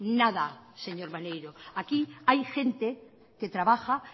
nada señor maneiro aquí hay gente que trabaja